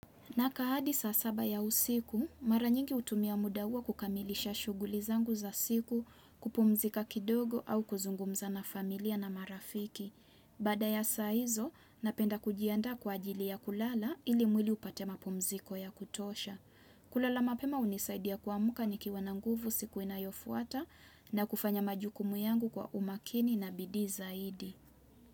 Nakaa hadi saa saba ya usiku, mara nyingi hutumia muda huo kukamilisha shughuli zangu za siku kupumzika kidogo au kuzungumza na familia na marafiki. Baada ya saa hizo, napenda kujiandaa kwa ajili ya kulala ili mwili upate mapumziko ya kutosha. Kulala mapema hunisaidia kuamka nikiwa na nguvu siku inayofuata na kufanya majukumu yangu kwa umakini na bidii zaidi.